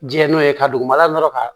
Jɛn n'o ye ka dugumana dɔrɔn ka